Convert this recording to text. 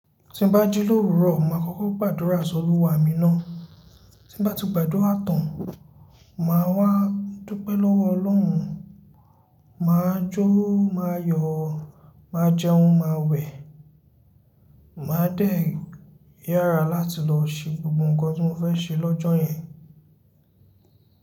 Tí n bá jí l'òwúrọ̀, mo màá kọ́kọ́ gbàdúrà sí Olúwa mi ná. Tí n bá ti gbàdúrà tán, màá wá dúpẹ́ lọ́wọ́ Ọlọ́run, màá jó, màá yọ̀, màá jẹun, màá wẹ̀, màá dẹ̀ yára láti lọ ṣe gbogbo ǹkan tí mo fẹ́ ṣe lọ́jọ́ yẹn.